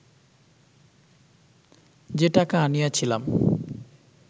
যে টাকা আনিয়াছিলাম